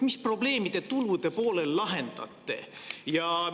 Mis probleemi te tulude poolel lahendate?